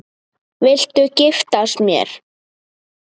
Viltu giftast mér?